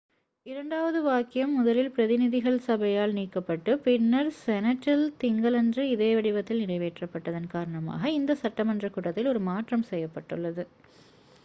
இரண்டாவது வாக்கியம் முதலில் பிரதிநிதிகள் சபையால் நீக்கப்பட்டு பின்னர் செனட்டில் திங்களன்று இதே வடிவத்தில் நிறைவேற்றப்பட்டதன் காரணமாக இந்த சட்டமன்றக் கூட்டத்தில் ஒரு மாற்றம் செய்யப்பட்டது